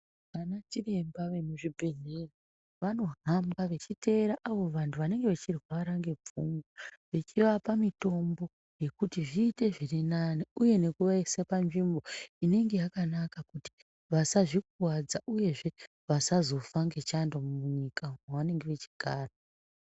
Ana chiremba vemuzvibhedhlera vanohamba vechiteera avo vantu vanenge vechirwara nepfungwa vechiapa mitombo yekuti zviite zvirinane uye nekuvaisa panzvimbo inenge yakanaka kuti vasazvikuwadza uyezve vasazofa ngechando munyika umu mavanenge vachigara.